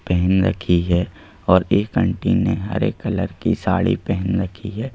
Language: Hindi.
पहन रखी है और एक आंटी ने हरे कलर की साड़ी पहन रखी है।